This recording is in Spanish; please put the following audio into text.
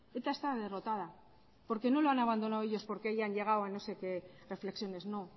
eta está derrotada porque no lo han abandonado ellos porque hayan llegado a no sé qué reflexiones no